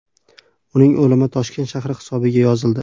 Uning o‘limi Toshkent shahri hisobiga yozildi.